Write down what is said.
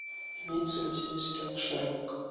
имеется ли у тебя сериал шерлок